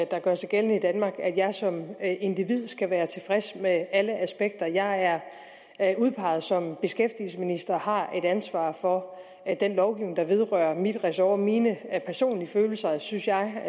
der gør sig gældende i danmark indlægger at jeg som individ skal være tilfreds med alle aspekter jeg er er udpeget som beskæftigelsesminister og har et ansvar for den lovgivning der vedrører min ressort mine personlige følelser synes jeg